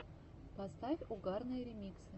поставь угарные ремиксы